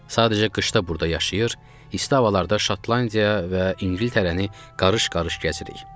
Sadəcə qışda burda yaşayır, isti havalarda Şotlandiya və İngiltərəni qarış-qarış gəzirik.